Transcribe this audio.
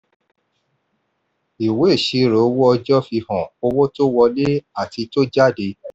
ìwé ìṣirò owó ọjọ́ fi hàn owó tó wọlé àti tó jáde.